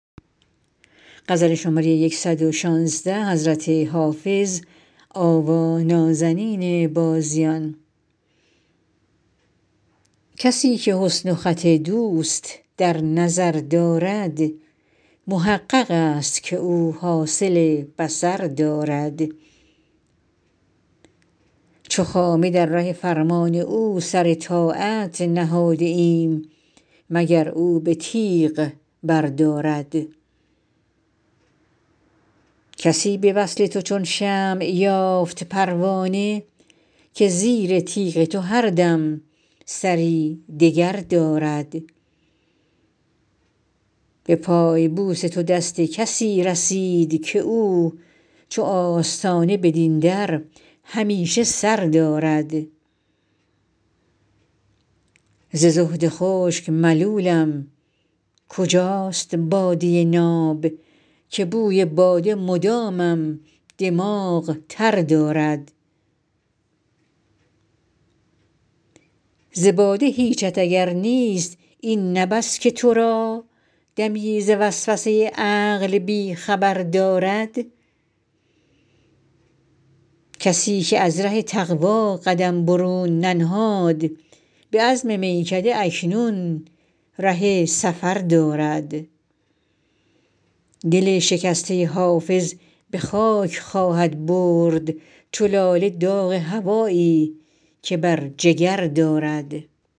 کسی که حسن و خط دوست در نظر دارد محقق است که او حاصل بصر دارد چو خامه در ره فرمان او سر طاعت نهاده ایم مگر او به تیغ بردارد کسی به وصل تو چون شمع یافت پروانه که زیر تیغ تو هر دم سری دگر دارد به پای بوس تو دست کسی رسید که او چو آستانه بدین در همیشه سر دارد ز زهد خشک ملولم کجاست باده ناب که بوی باده مدامم دماغ تر دارد ز باده هیچت اگر نیست این نه بس که تو را دمی ز وسوسه عقل بی خبر دارد کسی که از ره تقوا قدم برون ننهاد به عزم میکده اکنون ره سفر دارد دل شکسته حافظ به خاک خواهد برد چو لاله داغ هوایی که بر جگر دارد